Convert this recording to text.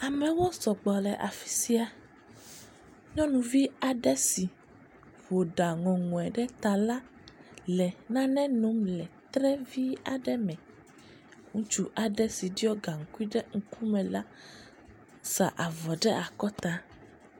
Amewo sɔgbɔ ɖe afi sia, nyɔnuvi aɖe si ƒo ɖa ŋɔŋɔe ɖe ta la le nane nom le tre vi aɖe me, ŋutsu aɖe si ɖɔ gaŋkui ɖe ŋkume sa avɔ ɖe akɔta.